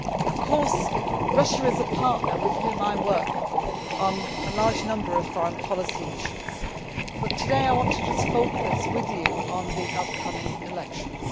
Of course, Russia is a partner with whom I work on a large number of foreign policy issues, but today I want to just focus with you on the upcoming elections.